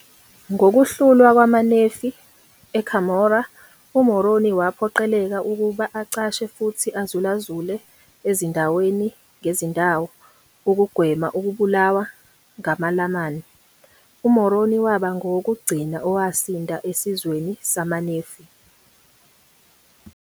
Ngokuhlulwa kwamaNefi eCumorah, uMoroni waphoqeleka ukuba acashe futhi azulazule ezindaweni ngezindawo ukugwema ukubulawa ngamaLamani. UMoroni waba ngowokugcina owasinda esizweni samaNefi.